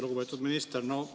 Lugupeetud minister!